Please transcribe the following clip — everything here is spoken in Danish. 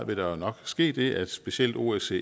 vil der nok ske det at specielt osce